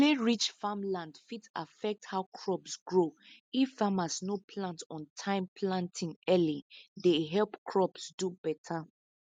clayrich farmland fit affect how crops grow if farmers no plant on time planting early dey help crops do better